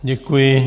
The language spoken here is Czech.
Děkuji.